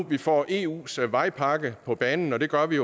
vi får eus vejpakke på banen og det gør vi